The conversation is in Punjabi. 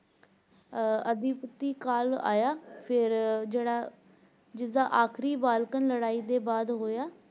ਅਦਿਪੁਟੀ ਕਾਲ ਆਇਆ ਫੇਰ ਜਿਹੜਾ ਫੇਰ ਈਦ ਦਾ ਅਖੀਰੀ Balkan ਲੜਾਈ ਦੇ ਬਾਅਦ ਹੋਇਆ